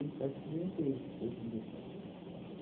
faz trinta e seis, trinta e sete. Faz